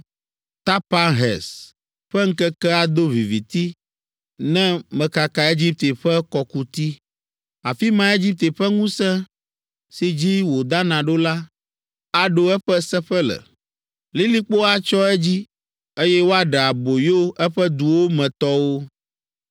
Tapanhes ƒe ŋkeke ado viviti, ne mekaka Egipte ƒe kɔkuti; afi mae Egipte ƒe ŋusẽ, si dzi wòdana ɖo la, aɖo eƒe seƒe le. Lilikpo atsyɔ edzi, eye woaɖe aboyo eƒe duwo me tɔwo.